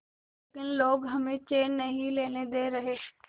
लेकिन लोग हमें चैन नहीं लेने दे रहे